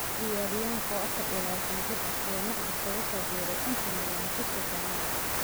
Ciyaaryahanka oo 24 jir ah, ayaa Magpies kaga soo biiray Inter Milan bishii Janaayo.